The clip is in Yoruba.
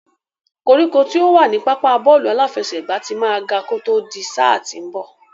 Koríko tí ó wà ní pápá bọ́ọ̀lù aláfẹsẹ̀gbá ti máa ga kó tó di sáà tí ń bọ̀.